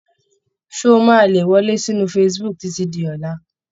Ṣé ó máa le wọlé sí inú facebook títí di ọ̀la?